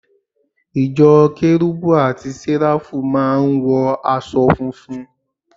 Ìjọ Kérubù àti Séráfù máà ń wọ aṣọ funfun